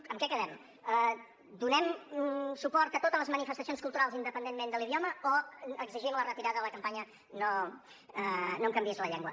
en què quedem donem suport a totes les manifestacions culturals independentment de l’idioma o exigim la retirada de la campanya no em canviïs la llengua